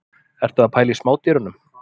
Ertu að pæla í smádýrunum?